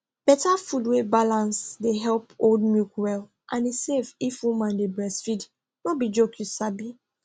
better food wey balance dey help hold milk well and e safe if woman dey breastfeed no be joke you sabi